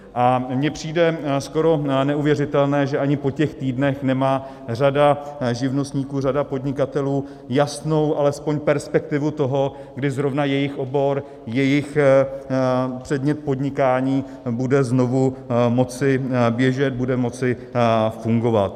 A mně přijde skoro neuvěřitelné, že ani po těch týdnech nemá řada živnostníků, řada podnikatelů jasnou alespoň perspektivu toho, kdy zrovna jejich obor, jejich předmět podnikání bude znovu moci běžet, bude moci fungovat.